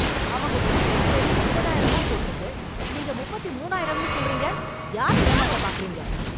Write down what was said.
அவங்க வெப்சைட்டுலேயே முப்பதாயிரம் தான் போட்டிருக்கு. நீங்க முப்பத்திமூனாயிரம்னு சொல்றீங்க! யார ஏமாத்தப் பார்க்குறீங்க!?